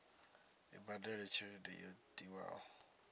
i badele tshelede yo tiwaho